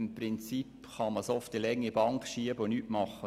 Im Prinzip kann man es auf die lange Bank schieben und nichts tun.